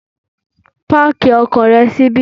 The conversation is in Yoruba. Páàkì ọkọ̀ rẹ síbí.